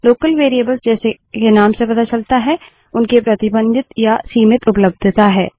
local variables जैसे के नाम से पता चलता है उनकी प्रतिबंधित या सीमित उपलब्धता है